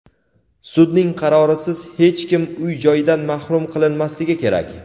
sudning qarorisiz hech kim uy-joyidan mahrum qilinmasligi kerak.